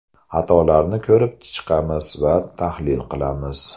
Xatolarni ko‘rib chiqamiz va tahlil qilamiz.